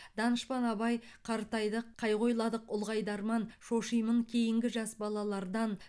данышпан абай қартайдық қайғы ойладық ұлғайды арман шошимын кейінгі жас балалардан